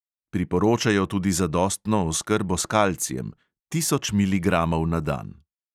Priporočajo tudi zadostno oskrbo s kalcijem (tisoč miligramov na dan).